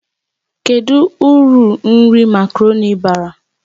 Kedu uru nri makaroni bara?